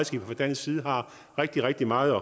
dansk side har rigtig rigtig meget